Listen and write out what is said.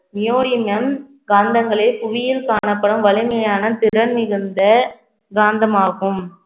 காந்தங்களே புவியில் காணப்படும் வலிமையான திறன் மிகுந்த காந்தமாகும்